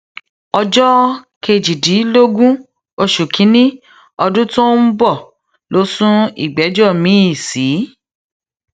ọjọ kejìdínlógún oṣù kínínní ọdún tó ń bọ ló sún ìgbẹjọ miín sí